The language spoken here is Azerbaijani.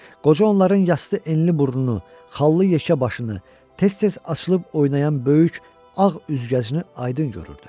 Qoca onların yastı enli burnunu, xallı yekə başını, tez-tez açılıb oynayan böyük ağ üzgəcini aydın görürdü.